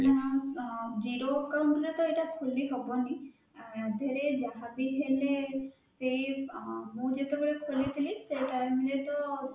ନାଁ ନାଁ zero account ରେ ତ ଏଇଟା ଖୋଲି ହବନି ଅଁ ଆ ଧୀରେ ଯାହା ବି ହେଲେ ସେଇ ଅଁ ମୁଁ ଯେତେବେଳେ ଖୋଲିଥିଲି ସେଇ time ରେ ତ